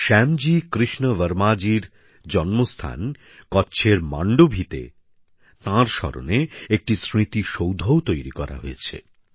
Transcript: শ্যামজি কৃষ্ণ বর্মাজির জন্মস্থান কচ্ছের মান্ডভিতে তাঁর স্মরণে একটি স্মৃতিসৌধও তৈরি করা হয়েছে